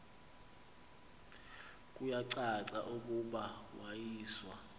kuyacaca ukuba woyiswa